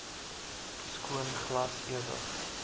skoon glas ewig